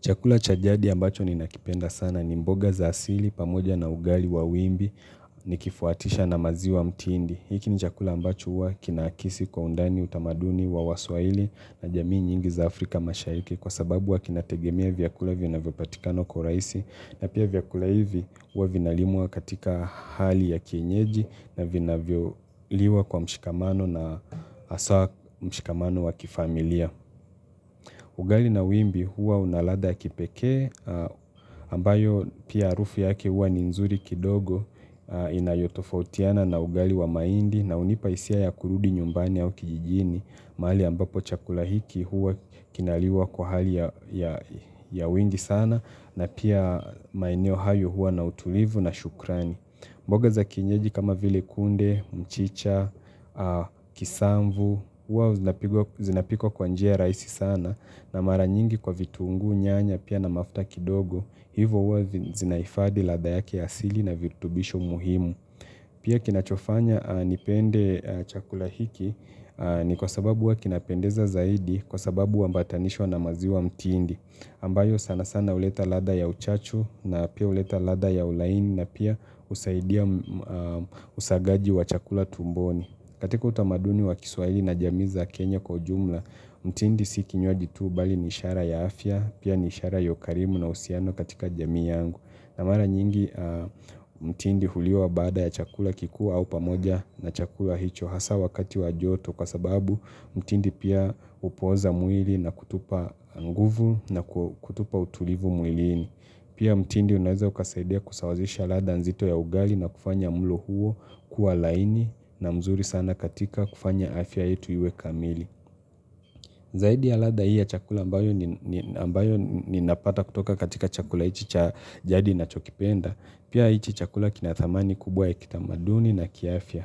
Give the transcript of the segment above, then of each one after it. Chakula cha jadi ambacho ni lnakipenda sana ni mboga za asili pamoja na ugali wa wimbi nikifuatisha na maziwa mtiindi. Hiki ni chakula ambacho huwa kinaakisi kwa undani utamaduni wa waswahili na jamii nyingi za Afrika mashahiki kwa sababu huwa kinategemea vyakula vinavyopatikana kwa urahisi na pia vyakula hivi huwa vinalimwa katika hali ya kienyeji na vinavyoliwa kwa mshikamano na haswa mshikamano wa kifamilia. Ugali na wimbi huwa una ladha wa kipekee ambayo pia harufu yake huwa ni nzuri kidogo inayotofautiana na ugali wa mahindi na hunipa hisia ya kurudi nyumbani au kijijini mahali ambapo chakula hiki huwa kinaliwa kwa hali ya ya wingi sana na pia maeneo hayo huwa na utulivu na shukrani. Mboga za kienyeji kama vile kunde, mchicha, kisamvu, huwa zinapikwa kwa njia rahisi sana na mara nyingi kwa vitunguu nyanya pia na mafuta kidogo, hivo huwa zinahifadhi ladha yake asili na virutubisho muhimu. Pia kinachofanya nipende chakula hiki ni kwa sababu huwa kinapendeza zaidi kwa sababu huambatanishwa na maziwa mtindi ambayo sana sana huleta ladha ya uchachu na pia huleta ladha ya ulaini na pia husaidia usagaji wa chakula tumboni. Katika utamaduni wa kiswaili na jami za Kenya kwa jumla, mtindi si kinywaji tu bali ni ishara ya afya, pia ni ishara ya ukarimu na uhusiano katika jamii yangu. Na mara nyingi mtindi huliwa baada ya chakula kikuu au pamoja na chakula hicho hasa wakati wa joto kwa sababu mtindi pia hupoza mwili na kutupa nguvu na kutupa utulivu mwilini. Pia mtindi unaweza ukasaidia kusawazisha ladha nzito ya ugali na kufanya mlo huo kuwa laini na mzuri sana katika kufanya afya yetu iwe kamili. Zaidi ya ladha hii ya chakula ambayo ninapata kutoka katika chakula hiki cha jadi ninachokipenda. Pia hiki chakula kina thamani kubwa ya kitamaduni na kiafya.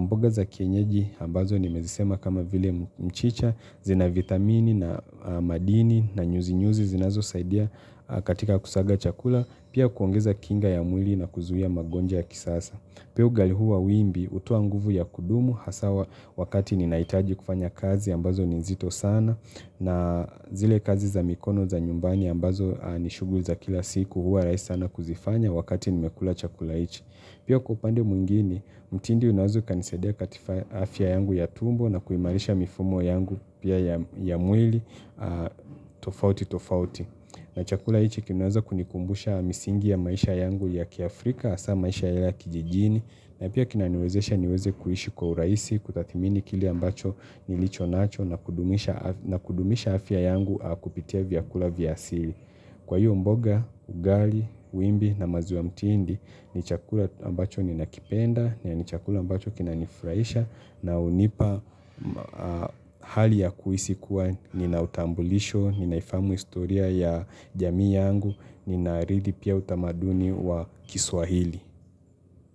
Mboga za kienyeji ambazo nimezisema kama vile mchicha zina vitamini na madini na nyuzi nyuzi zinazosaidia katika kusaga chakula Pia kuongeza kinga ya mwili na kuzuia magonjwa ya kisasa Pia ugali huwa wimbi hotoa nguvu ya kudumu haswa wakati ninahitaji kufanya kazi ambazo ni zito sana na zile kazi za mikono za nyumbani ambazo ni shuguli za kila siku huwa rahisi sana kuzifanya wakati nimekula chakula hiki Pia kwa upande mwingine, mtindi unaweza ukanisaidia katika afya yangu ya tumbo na kuimarisha mifumo yangu pia ya mwili tofauti tofauti. Na chakula hiki kinaweza kunikumbusha misingi ya maisha yangu ya kiafrika hasa maisha yale ya kijijini. Na pia kinaniwezesha niweze kuishi kwa urahisi, kutathmini kile ambacho nilicho nacho nacho kudumisha afya na kudumisha afya yangu kupitia vyakula vya asili. Kwa hiyo mboga, ugali, wimbi na maziwa ya mtiindi ni chakula ambacho ninakipenda, na ni chakula ambacho kinanifurahisha na hunipa hali ya kuhisi kuwa nina utambulisho, ninaifahamu historia ya jamii yangu, nina ridhi pia utamaduni wa kiswahili.